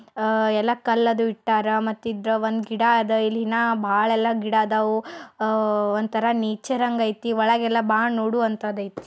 ಎಲ್ಲ ಕಲ್ಲು ಅದು ಇಟ್ಟಾರಾ ಮತ್ತ ಹಿಂದ ಒಂದ್ ಗಿಡ ಅದ ಇಲ್ಲಿ ಇನ್ಹ ಭಾಳ ಗಿಡ ಅದವ್ ಒಂದತರ್ ನೇಚರ್ ಹಂಗ್ ಐತಿ. ಒಳಗ್ ಎಲ್ಲ್ ಭಾಳ ನೋಡುವಂತದ್ ಐತಿ.